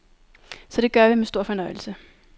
Så det gør vi med stor fornøjelse.